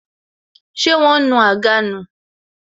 Ṣé wọn nu àga nù